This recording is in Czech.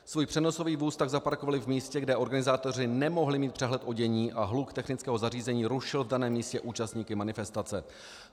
Svůj přenosový vůz tak zaparkovali v místě, kde organizátoři nemohli mít přehled o dění a hluk technického zařízení rušil v daném místě účastníky manifestace.